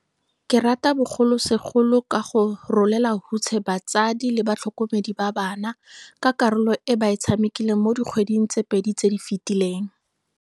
Ke rata bogolosegolo go ka rolela hutshe batsadi le batlhokomedi ba bana, ka karolo e ba e tshamekileng mo dikgweding di le pedi tse di fetileng.